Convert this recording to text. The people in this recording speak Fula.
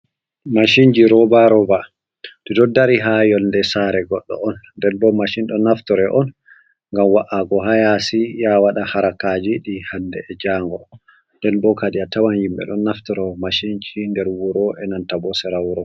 Mashinji robaroba, ɗiɗo dari ha yonde sare goɗɗo on nden bo mashin ɗon naftore on ngam wa’ago hayasi yawaɗa harakaji ɗi hande e jango, nden bo kadi a tawan yimɓe ɗon naftora mashinji nder wuro e nanta bo sera wuro.